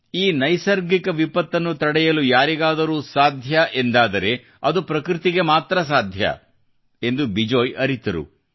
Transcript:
ಈ ನೈಸರ್ಗಿಕ ವಿಪತ್ತನ್ನು ತಡೆಯಲು ಯಾರಿಗಾದರೂ ಸಾಧ್ಯವಾಗುತ್ತದೆ ಎಂದಾದರೆ ಅದು ಪ್ರಕೃತಿಗೆ ಮಾತ್ರ ಎಂದು ಬಿಜೋಯ್ ಅರಿತರು